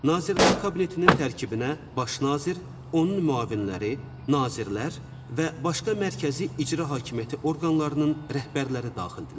Nazirlər Kabinetinin tərkibinə Baş nazir, onun müavinləri, nazirlər və başqa mərkəzi icra hakimiyyəti orqanlarının rəhbərləri daxildirlər.